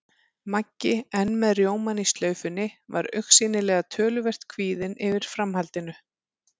Maggi, enn með rjómann í slaufunni, var augsýnilega töluvert kvíðinn yfir framhaldinu.